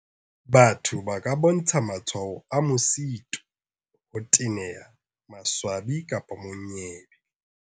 Batho ba ka bontsha matshwao a mosito, ho teneha, maswabi kapa monyebe.